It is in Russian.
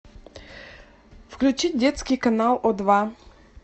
включить детский канал о два